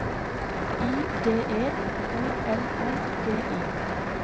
I D E O L O G I